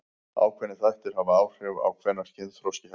Ákveðnir þættir hafa áhrif á hvenær kynþroski hefst.